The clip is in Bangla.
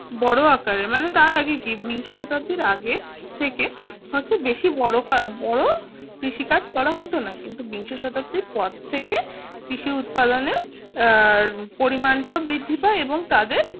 বড় আকারে মানে তার আগে বিংশ শতাব্দীর আগের থেকে বেশি কাজ করা হতো না কিন্তু বিংশ শতাব্দীর পর থেকে কৃষি উৎপাদনের পরিমাণটা বৃদ্ধি পায় এবং তাদের